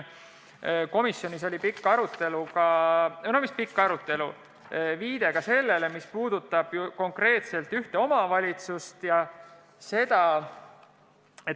Komisjonis oli pikk arutelu – või mis pikk arutelu, pigem viide sellele –, mis puudutas konkreetselt ühte omavalitsust.